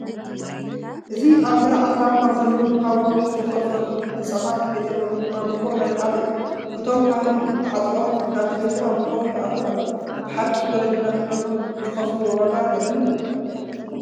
እዚ ኣብ ገረዓልታ ካብ ዘለዉ ካብ ከውሒ ዝተፈልፈሉ ህንፃታት ቤተ ኣምልኮ ናይ ሓደ እዩ፡፡ እቶም ካህን ተዓጢቖም ናብቲ ቤተ ኣምልኮ ይኣትዉ ኣለዉ፡፡ ብሓቂ ወለድና ንእምነቶም ዝኸፍልዎ ዋጋ ዘድንቕ እዩ፡፡